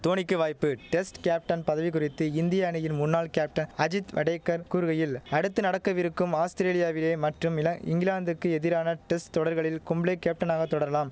தோனிக்கு வாய்ப்பு test captain பதவி குறித்து இந்திய அணியின் முன்னாள் கேப்டன் அஜித் வடேகர் கூறுகையில் அடுத்து நடக்கவிருக்கும் ஆஸ்திரேலியாவிலே மற்றும் இலங் இங்கிலாந்துக்கு எதிரான டெஸ்ட் தொடர்களில் கும்ளே கேப்டனாக தொடரலாம்